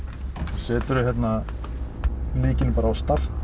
seturðu hérna lykilinn bara á start